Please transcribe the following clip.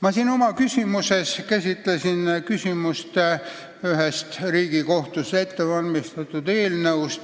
Pikamäele küsimuste esitamise ajal ma tõstatasin ühe Riigikohtus ettevalmistatud eelnõu teema.